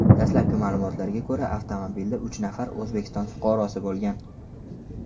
Dastlabki ma’lumotlarga ko‘ra, avtomobilda uch nafar O‘zbekiston fuqarosi bo‘lgan.